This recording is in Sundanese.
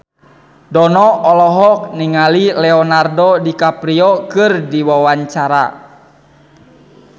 Dono olohok ningali Leonardo DiCaprio keur diwawancara